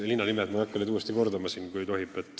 Ma ei hakka neid linnanimesid uuesti kordama, kui tohib.